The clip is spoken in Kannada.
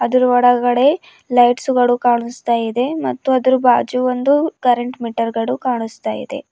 ಅದ್ರ್ ಒಳಗಡೆ ಲೈಟ್ಸ್ ಗಳು ಕಾಣಸ್ತಾ ಇದೆ ಮತ್ತು ಅದರ ಬಾಜು ಒಂದು ಕರೆಂಟ್ ಮೀಟರ್ ಗಳು ಕಾಣಸ್ತಾ ಇದೆ.